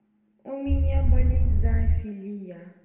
у меня болезнь зоофилия